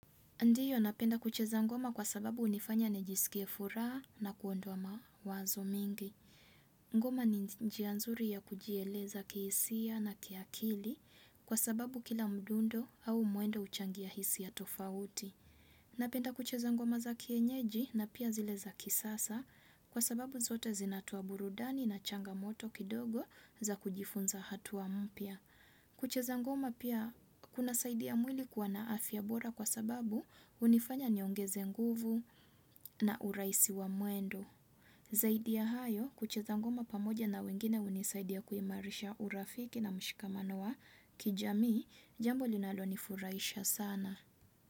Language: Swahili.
Ndiyo napenda kucheza ngoma kwa sababu hunifanya nijiskie furaha na kuondoa mawazo mingi. Ngoma ni njia nzuri ya kujieleza kihisia na ki akili kwa sababu kila mdundo au mwendo huchangia hisia tofauti. Napenda kucheza ngoma za kienyeji na pia zile za kisasa kwa sababu zote zinatoa burudani na changamoto kidogo za kujifunza hatua mpya. Kucheza ngoma pia kunasaidia mwili kuwa na afya bora kwa sababu hunifanya niongeze nguvu na uraisi wa mwendo. Zaidi ya hayo kucheza ngoma pamoja na wengine hunisaidia kuimarisha urafiki na mshikamano wa kijamii jambo linalo nifurahisha sana.